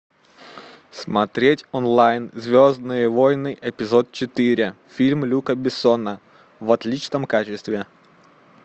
смотреть онлайн звездные войны эпизод четыре фильм люка бессона в отличном качестве